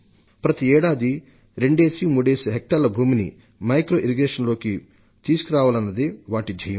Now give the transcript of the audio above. ప్రతి ఏడాది రెండేసి మూడేసి హెక్టార్ల భూమిని సూక్ష్మ నీటిపారుదలలోకి తీసుకురావాలన్నదే వాటి ధ్యేయం